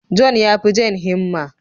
John ya fi Jane himma.